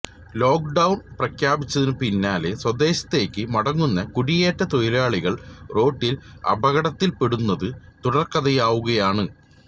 lock down പ്രഖ്യാപിച്ചതിന് പിന്നാലെ സ്വദേശത്തേക്ക് മടങ്ങുന്ന കുടിയേറ്റ തൊഴിലാളികൾ റോഡിൽ അപകടത്തിൽപ്പെടുന്നത് തുടർക്കഥയാകുകയാണ്